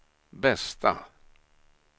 bästa